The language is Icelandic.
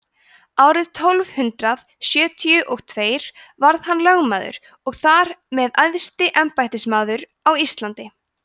árið tólf hundrað sjötíu og tveir varð hann lögmaður og þar með æðsti embættismaður á íslandi